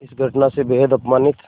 इस घटना से बेहद अपमानित